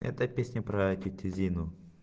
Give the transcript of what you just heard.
это песня про тётю зину